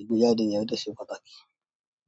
Ìgbéjáde yẹn ó dẹ̀ ṣe pàtàkì.